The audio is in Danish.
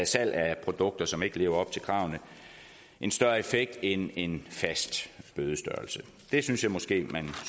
salg af produkter som ikke lever op til kravene en større effekt end en fast bødestørrelse det synes jeg måske man